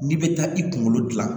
N'i bɛ taa i kunkolo dilan